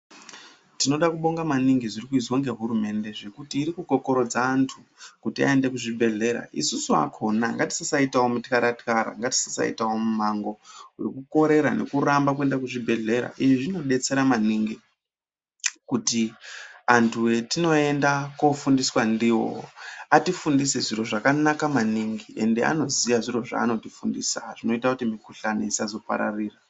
Tinoda kubonga maningi zviri kuizwa ngehurumenge ngekuti kri kukokorodze vantu kuti vaende kuzvibhedhlera isusu akhona ngatisasaitawo mutkara tkara ngatisasaitawo mumango wekukorwra nekuramba kuende kuzvibhedhlera ini zvinodetsera maningi kuti antu atinoenda kofundiswa ndiwo atifundise zviro zvakanaka mani gi ende anoziya zviro zvaanotifundisa zvinoita kuti mikhuhlani isazopararira.